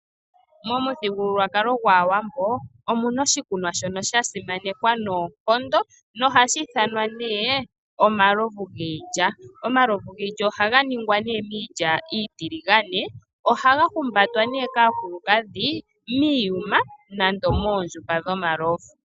Momuthigululwakalo gwaawambo omuna oshikunwa shono shasimanekwa noonkondo nohashi ithanwa omalovu giilya. Omalovu giilya ohaga ningwa miilya iitiligane. Ohaga humbatwa kaakulukadhi miiyuma nande moondjupa dhomalovu.